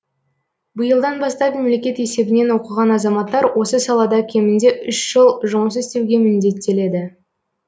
биылдан бастап мемлекет есебінен оқыған азаматтар осы салада кемінде үш жыл жұмыс істеуге міндеттеледі